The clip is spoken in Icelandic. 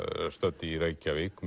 stödd í Reykjavík